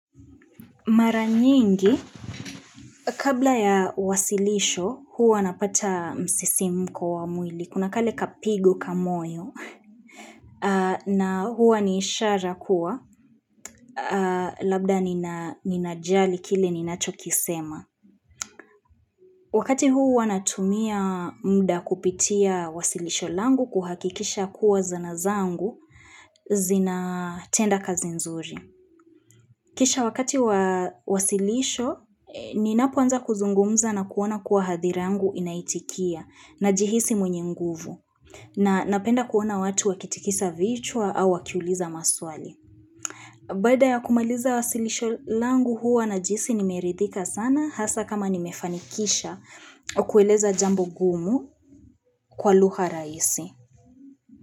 Mara nyingi, kabla ya wasilisho, huwa napata msisimko wa mwili, kunakale kapigo kamoyo, na huwa ni ishara kuwa, labda ninajali kile ninacho kisema. Wakati huwa natumia mda kupitia wasilisho langu kuhakikisha kuwa zanazangu, zina tenda kazi nzuri. Kisha wakati wa wasilisho, ninapoanza kuzungumza na kuona kuwa hadhira yangu inaitikia na jihisi mwenye nguvu na napenda kuona watu wakitikisa vichwa au wakiuliza maswali. Baada ya kumaliza wasilisho langu huwa najihisi nimeridhika sana hasaa kama nimefanikisha kueleza jambo gumu kwa lugha rahisi.